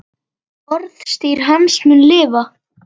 Orðstír hans mun lifa.